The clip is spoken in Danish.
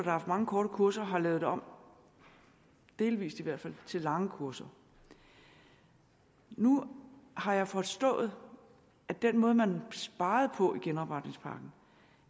haft mange korte kurser har lavet det om delvis i hvert fald til lange kurser nu har jeg forstået at den måde man sparede på i genopretningspakken